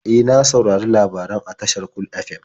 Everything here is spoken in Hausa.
E, na saurari labaran a tashar Cool FM.